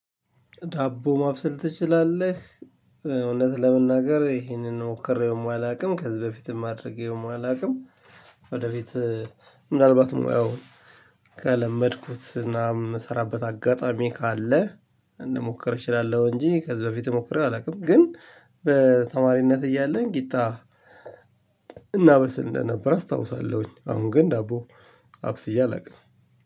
ዳቦ ማብሰል ትችላለህ? እውነት ለመናገር ይሄንን ሞክሬውም አላውቅም። ከዚህ በፊትም አድርጌውም አላውቅም። ወደፊት ምናልባት ሙያውን ከለመድኩትና ምስራበት አጋጣሚ ካለ ልሞክር እችላለሁ እንጂ ከዚህ በፊት ሞክሬ አላውቅም። ግን በተማሪነት እያለን ቂጣ እናበስል እንደነበረ አስታውሳለሁኝ አሁን ግን ዳቦ አብስዬ አላውቅም።